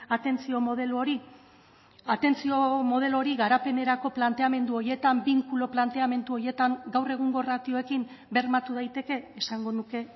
atentzio modelo hori atentzio modelo hori garapenerako planteamendu horietan binkulo planteamendu horietan gaur egungo ratioekin bermatu daiteke esango nuke